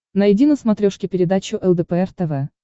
найди на смотрешке передачу лдпр тв